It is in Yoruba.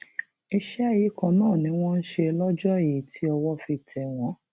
iṣẹ yìí kan náà ni wọn ń ṣe lọjọ yìí tí owó fi tẹ wọn